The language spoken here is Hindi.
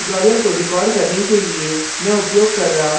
इस tutorial को record करने के लिए मैं उपयोग कर रहा हूँ